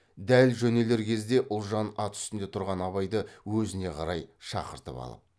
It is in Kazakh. дәл жөнелер кезде ұлжан ат үстінде тұрған абайды өзіне қарай шақыртып алып